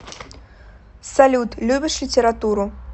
салют любишь литературу